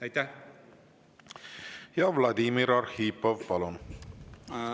Ja Vladimir Arhipov, palun!